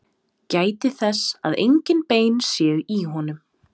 Gætið þess að engin bein séu í honum.